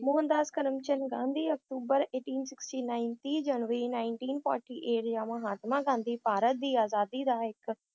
ਮੋਹਨਦਾਸ ਕਰਮਚੰਦ ਗਾਂਧੀ ਅਕਤੂਬਰ eighteen sixty nine ਤੀਹ ਜਨਵਰੀ nineteen forty eight ਆ ਮਹਾਤਮਾ ਗਾਂਧੀ ਭਾਰਤ ਦੀ ਆਜ਼ਾਦੀ ਦਾ ਇੱਕ